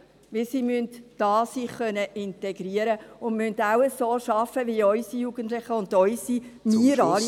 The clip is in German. Denn sie müssen sich hier integrieren können und auch so arbeiten wie unsere Jugendlichen und wir alle.